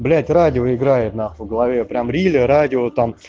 блять радио играет на хуй в голове прям рили радио там